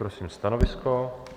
Prosím stanovisko.